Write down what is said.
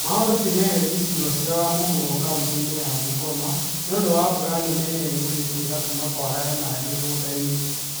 Maũndũ ti mega icigo cia mũhuro kauntĩ-inĩ ya Bungoma nĩũndũ wa mbura nene ĩrĩa yurĩte ĩgatũma kwarahe maĩ mĩgũnda-inĩ